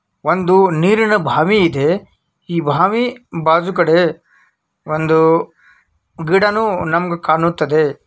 ಒಂದು ನೀರಿನ ಬಾವಿ ಇದೆ ಈ ಬಾವಿ ಬಾಜೂಕಡೆ ಒಂದು ಗಿದನು ನಮಗೆ ಕಾಣುತ್ತದೆ.